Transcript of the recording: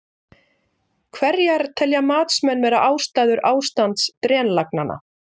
Hverjar telja matsmenn vera ástæður ástands drenlagnanna?